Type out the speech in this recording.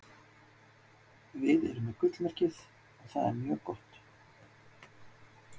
Við erum með gullmerkið. og það er mjög gott.